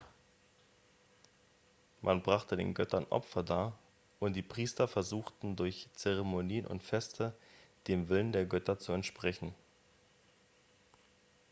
man brachte den göttern opfer dar und die priester versuchten durch zeremonien und feste dem willen der götter zu entsprechen